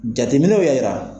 Jateminɛw y'a yira.